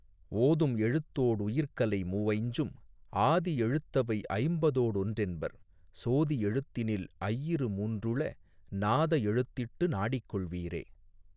ஓதும் எழுத்தோடு உயிர்க்கலை மூவைஞ்சும் ஆதி எழுத்தவை ஐம்பதோடு ஒன்றென்பர் சோதி எழுத்தினில் ஐயிரு மூன்றுள நாத எழுத்திட்டு நாடிக்கொள்வீரே.